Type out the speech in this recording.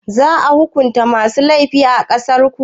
Za a hukunta masu laifi a ƙasarku?